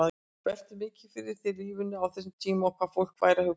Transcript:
Veltirðu mikið fyrir þér lífinu á þessum tíma og hvað fólk væri að hugsa?